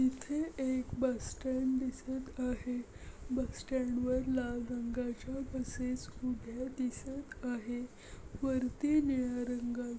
इथे एक bus stand दिसत आहे. बस स्टँड वर लाल रंगाचे बसेस उभे दिसत आहे. वरती निळ्या रंगा--